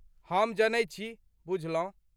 हम जनै छी, बुझलौं ?